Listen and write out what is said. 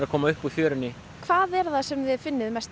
koma upp úr fjörunni hvað er það sem þið finnið mest